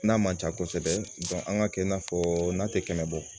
N'a man ca kosɛbɛ an ka kɛ i n'a fɔ n'a tɛ kɛmɛ bɔ